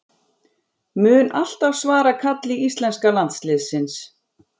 Mun alltaf svara kalli íslenska landsliðsins